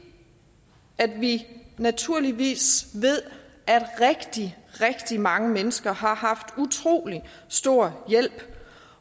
vi naturligvis ved at rigtig rigtig mange mennesker har haft utrolig stor hjælp